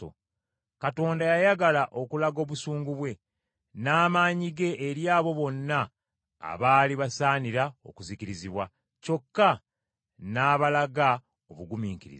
Katonda yayagala okulaga obusungu bwe, n’amaanyi ge eri abo bonna abaali basaanira okuzikirizibwa, kyokka n’abalaga obugumiikiriza.